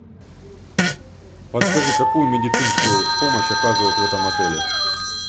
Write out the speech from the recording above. подскажи какую медицинскую помощь оказывают в этом отеле